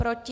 Proti?